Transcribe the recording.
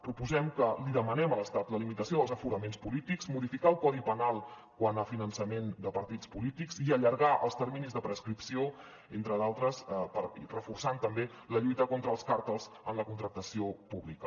proposem que li demanem a l’estat la limitació dels aforaments polítics modificar el codi penal quant a finançament de partits polítics i allargar els terminis de prescripció entre d’altres reforçant també la lluita contra els càrtels en la contractació pública